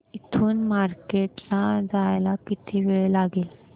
इथून मार्केट ला जायला किती वेळ लागेल